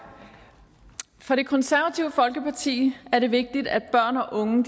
for det konservative folkeparti er det vigtigt at børn og unge